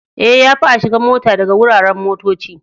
Eh, ya fi a shiga mota daga wuraren motocci.